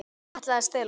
Ætlaði að stela honum!